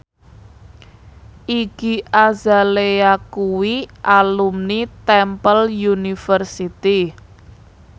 Iggy Azalea kuwi alumni Temple University